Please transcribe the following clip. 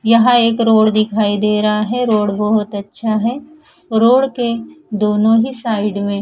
यहाँ एक रोड दिखाई देरा है रोड बोहोत अच्छा है रोड के दोनों ही साइड में--